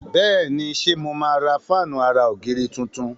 Béèni ṣe mo má rà Fáànù àrà ògiri títún.